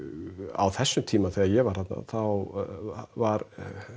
á þessum tíma þegar ég var þarna þá var